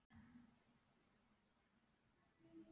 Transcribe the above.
Eftir grátkast og andvökunótt.